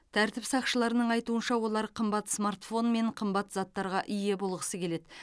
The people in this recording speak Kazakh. тәртіп сақшыларының айтуынша олар қымбат смартфон мен қымбат заттарға ие болғысы келеді